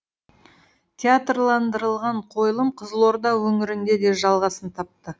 театрландырылған қойылым қызылорда өңірінде де жалғасын тапты